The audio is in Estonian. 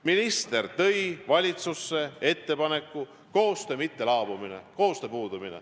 Minister tõi valitsusse ettepaneku – koostöö ei laabu, koostöö puudub.